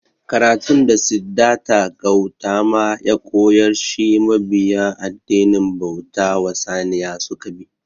Karatun da Siddarta Gautama ya koyar shi mabiya addinin bauta wa Saniya suka bi